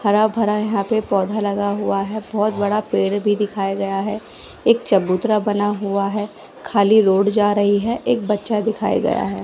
हरा भरा यहा पे पौधा लगा हुआ है बहोत बड़ा पेड़ भी दिखाया गया है एक चबूतरा बना हुआ है खाली रोड जा रही है एक बच्चा दिखाया गया है।